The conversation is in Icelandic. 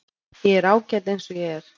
Ég er ágæt eins og ég er.